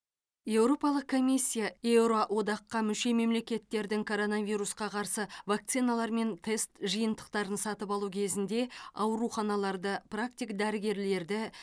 еуропалық комиссия еуро одаққа мүше мемлекеттердің коронавирусқа қарсы вакциналар мен тест жиынтықтарын сатып алу кезінде ауруханаларды практик дәрігерлерді